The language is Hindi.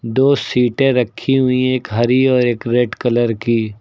दो सीटे रखी हुई एक हरी और एक रेड कलर की।